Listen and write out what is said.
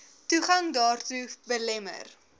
toegang daartoe belemmer